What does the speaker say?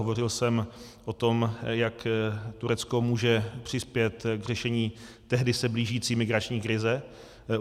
Hovořil jsem o tom, jak Turecko může přispět k řešení tehdy se blížící migrační krize.